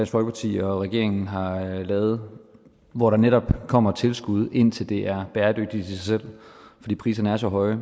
folkeparti og regeringen har lavet hvor der netop kommer tilskud indtil det er bæredygtigt i sig selv fordi priserne er så høje